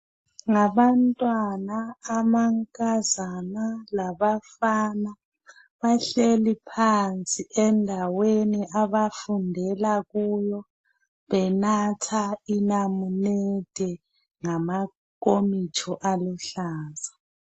Ngabantwana amankazana labafana bahleli phansi endaweni abafundela kuyo benatha inamunede ngamankomitsho aluhlaza .